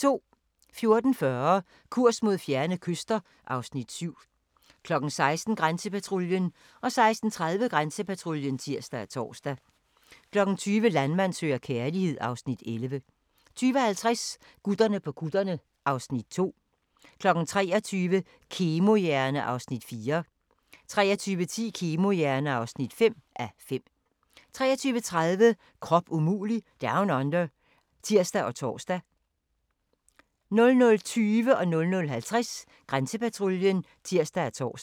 14:40: Kurs mod fjerne kyster (Afs. 7) 16:00: Grænsepatruljen 16:30: Grænsepatruljen (tir og tor) 20:00: Landmand søger kærlighed (Afs. 11) 20:50: Gutterne på kutterne (Afs. 2) 23:00: Kemohjerne (4:5) 23:10: Kemohjerne (5:5) 23:30: Krop umulig Down Under (tir og tor) 00:20: Grænsepatruljen (tir og tor) 00:50: Grænsepatruljen (tir og tor)